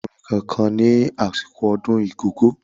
O kò ní lo ohun èlò orin kankan ní àsìkò ọdún Igogo.